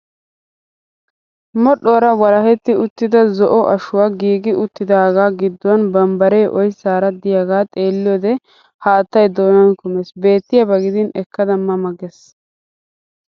Modhdhuwaara walahetti uttida zo'o ashoyi giigi uttidaaga gidduwan bambbaree oyissaara diyaaga xeelliyoode haattayi doonan kumes. Beettiyaaba gidin ekkada ma ma gees.